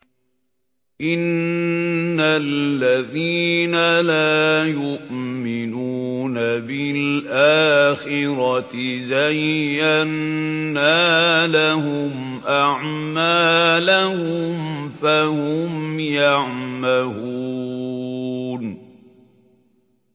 إِنَّ الَّذِينَ لَا يُؤْمِنُونَ بِالْآخِرَةِ زَيَّنَّا لَهُمْ أَعْمَالَهُمْ فَهُمْ يَعْمَهُونَ